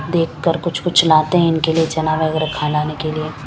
देख कर कुछ कुछ लाते है इनके लिए चना वगेरा खाना ने के लिए--